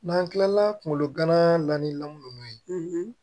N'an kilala kunkolo gan lan ninnu ye